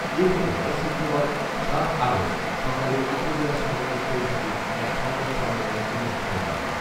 এ ঘটনায় শুক্রবার, সাত আগষ্ট সকালে উপজেলা সাংবাদিক পরিষদে এক সংবাদ সম্মেলন অনুষ্ঠিত হয়